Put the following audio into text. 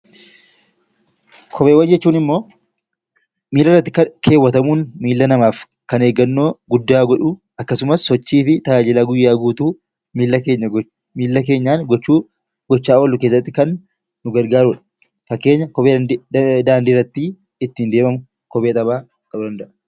Kopheewwan jechuun immoo miilarratti kaawwatamuun kan miila namaaf kan eeggannoo guddaa godhu akkasumas sochii fi tajaajila guyyaa guutuu miila keenyaan gochaa oollu keessatti kan nu gargaarudha. Fakkeenya kophee daandiirra ittiin deemamu kophee taphaa ta'uu danda'a.